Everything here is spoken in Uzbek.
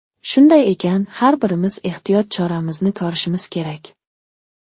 Shunday ekan, har birimiz ehtiyot choramizni ko‘rishimiz kerak.